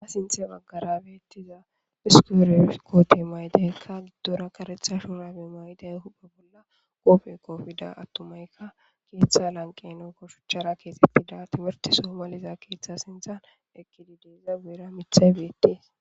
Ha sinthe beettiza issi uray koote ma7idikka giddora kareetha shuraabe mayidi koofe koppida attumay keetha lanqqenhankko shichara keexettida timirtte soo maliza keetha sinthan eqqidi dees. Iya guyera mithay beettees